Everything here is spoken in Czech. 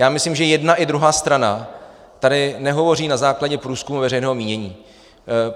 Já myslím, že jedna i druhá strana tady nehovoří na základě průzkumů veřejného mínění.